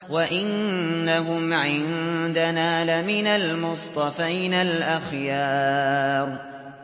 وَإِنَّهُمْ عِندَنَا لَمِنَ الْمُصْطَفَيْنَ الْأَخْيَارِ